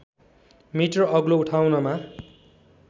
metre अग्लो उठाउनमा